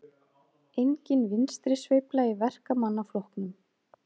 Engin vinstrisveifla í Verkamannaflokknum